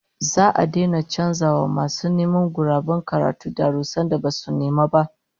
Za'a daina canza wa masu neman guraben karatu darussan da basu nema ba